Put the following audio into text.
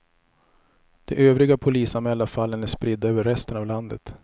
De övriga polisanmälda fallen är spridda över resten av landet.